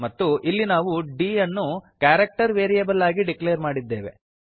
ಮತ್ತು ಇಲ್ಲಿ ನಾವು d ಯನ್ನು ಕ್ಯಾರೆಕ್ಟರ್ ವೇರಿಯೇಬಲ್ ಅಗಿ ಡಿಕ್ಲೇರ್ ಮಾಡಿದ್ದೇವೆ